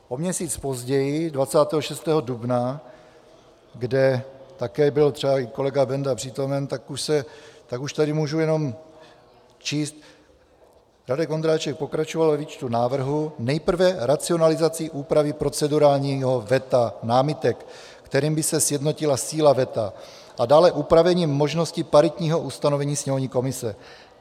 O měsíc později, 26. dubna, kde také byl třeba i kolega Benda přítomen, tak už tady můžu jenom číst, Radek Vondráček pokračoval ve výčtu návrhů nejprve racionalizací úpravy procedurálního veta námitek, kterým by se sjednotila síla veta, a dále upravením možnosti paritního ustanovení sněmovní komise.